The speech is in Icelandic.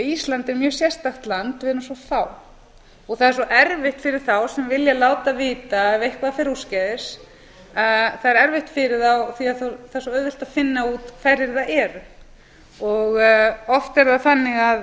er mjög sérstakt land við erum svo fá og það er svo erfitt fyrir þá sem vilja láta vita ef eitthvað fer úrskeiðis það er erfitt fyrir þá því að það er svo auðvelt að finna út hverjir það eru oft er það þannig að það